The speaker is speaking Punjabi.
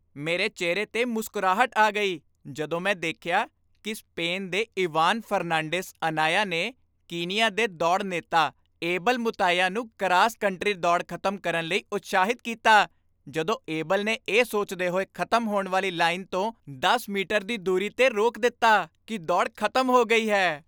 ਮੇਰੇ ਚਿਹਰੇ 'ਤੇ ਮੁਸਕਰਾਹਟ ਆ ਗਈ ਜਦੋਂ ਮੈਂ ਦੇਖਿਆ ਕੀ ਸਪੈਨ ਦੇ ਇਵਾਨ ਫਰਨਾਂਡੀਜ਼ ਅਨਾਇਆ ਨੇ ਕੀਨੀਆ ਦੇ ਦੌੜ ਨੇਤਾ ਏਬਲ ਮੁਤਾਇਆ ਨੂੰ ਕਰਾਸ ਕੰਟਰੀ ਦੌੜ ਖ਼ਤਮ ਕਰਨ ਲਈ ਉਤਸ਼ਾਹਿਤ ਕੀਤਾ ਜਦੋਂ ਏਬਲ ਨੇ ਇਹ ਸੋਚਦੇ ਹੋਏ ਖ਼ਤਮ ਹੋਣ ਵਾਲੀ ਲਾਈਨ ਤੋਂ ਦਸ ਮੀਟਰ ਦੀ ਦੂਰੀ 'ਤੇ ਰੋਕ ਦਿੱਤਾ ਕੀ ਦੌੜ ਖ਼ਤਮ ਹੋ ਗਈ ਹੈ